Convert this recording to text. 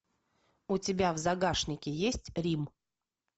у тебя в загашнике есть рим